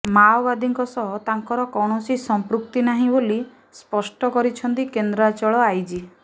ମାଓବାଦୀ ସହ ତାଙ୍କର କୌଣସି ସମ୍ପୃକ୍ତି ନାହିଁ ବୋଲି ସ୍ପଷ୍ଟ କରିଛନ୍ତି କେନ୍ଦ୍ରାଞ୍ଚଳ ଆଇଜି